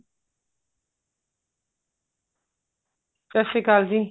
ਸਤਿ ਸ਼੍ਰੀ ਅਕਾਲ ਜੀ